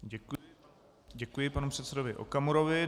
Děkuji panu předsedovi Okamurovi.